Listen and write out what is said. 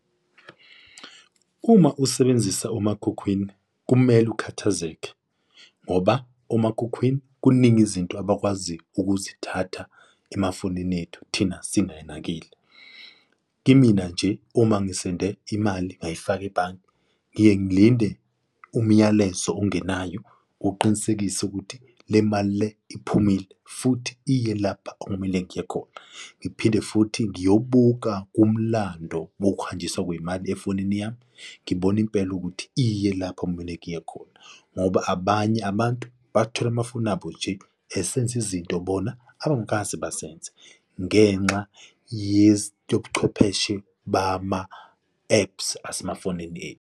Uma usebenzisa umakhukhwini kumele ukhathazeke ngoba umakhukhwini kuningi izinto abakwazi ukuzithatha emafonini ethu thina singanakile. Kimina nje uma ngisenze imali ngayifaka ebhange ngiye ngilinde umyalezo ongenayo uqinisekise ukuthi le mali le iphumile futhi iye lapha okumele iye khona. Ngiphinde futhi ngiyobuka umlando wokuhanjiswa kwey'mali efonini yami ngibona impela ukuthi iye lapho okumele iye khona, ngoba abanye abantu bathola amafoni abo nje esenza izinto bona abangakaze bazenze ngenxa yebuchwepheshe bama-apps asemafonini ethu.